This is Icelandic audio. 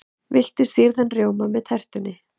Viltu sýrðan rjóma með tertunni?